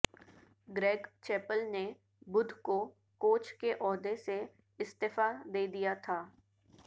Greg Chappell نے بدھ کو کوچ کے عہدے سے استعفی دے دیا تھا